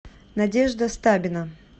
надежда стабина